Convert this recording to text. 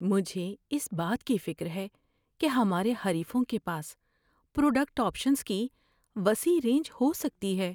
مجھے اس بات کی فکر ہے کہ ہمارے حریفوں کے پاس پروڈکٹ آپشنز کی وسیع رینج ہو سکتی ہے۔